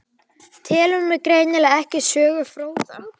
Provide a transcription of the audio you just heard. Telur mig greinilega ekki sögufróða.